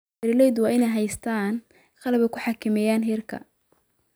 Beeralaydu waa inay haystaan ??qalab ay ku xakameeyaan heerka